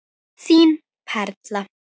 Þín Perla.